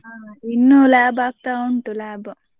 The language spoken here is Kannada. ಹಾ ಇನ್ನು lab ಆಗ್ತಾ ಉಂಟು lab .